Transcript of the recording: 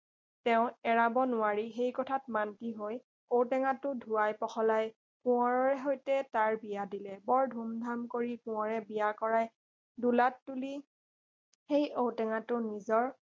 তেওঁ এৰাব নোৱাৰি সেই কথাত মান্তি হৈ ঔ টেঙাটো ধুৱাই পখলাই কোঁৱৰৰে সৈতে তাৰ বিয়া দিলে বৰ ধুম ধাম কৰি কোঁৱৰে বিয়া কৰাই দোলাত তুলি সেই ঔ টেঙাটো নিজৰ